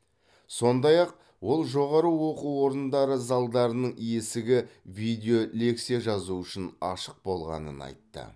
сондай ақ ол жоғары оқу орындары залдарының есігі видео лекция жазу үшін ашық болғанын айтты